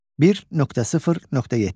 1.0.7.